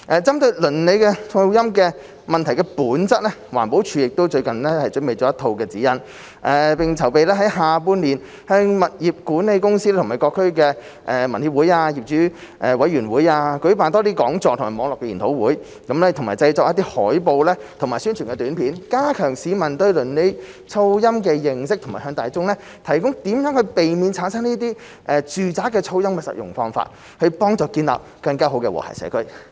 針對鄰里噪音問題的本質，環保署最近亦準備了一套指引，並正籌備在下半年向物業管理公司及各區居民協會和業主委員會舉辦多些講座及網絡研討會，以及製作海報及宣傳短片，加強市民對鄰里噪音的認識及向大眾提供如何避免產生住宅噪音的實用方法，以幫助建立更好的和諧社區。